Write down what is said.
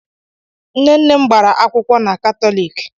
Nne nne m gbara akwụkwọ na Katọlik.